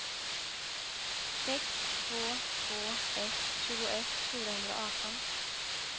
sex två två ett tjugoett fyrahundraarton